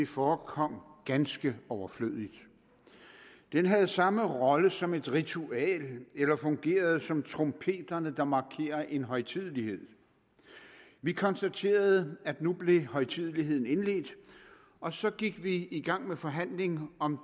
forekom ganske overflødigt den havde samme rolle som et ritual eller fungerede som trompeterne der markerer en højtidelighed vi konstaterede at nu blev højtideligheden indledt og så gik vi i gang med forhandling om